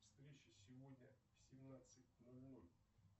встреча сегодня в семнадцать ноль ноль